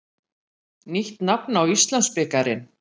Nýtt nafn á Íslandsbikarinn.